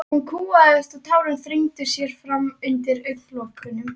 Hún kúgaðist og tárin þrengdu sér fram undir augnalokunum.